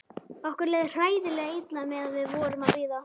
Okkur leið hræðilega illa meðan við vorum að bíða.